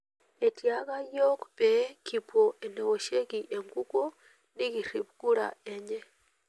Etiaka yiok pee kipuo enewoshieki enkukuo nikirip kura enye.